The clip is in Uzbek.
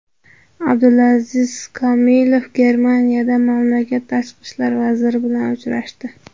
Abdulaziz Komilov Germaniyada mamlakat tashqi ishlar vaziri bilan uchrashdi.